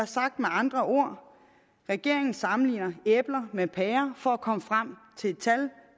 sagt med andre ord regeringen sammenligner æbler med pærer for at komme frem til et tal